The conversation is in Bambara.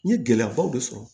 N ye gɛlɛyabaw de sɔrɔ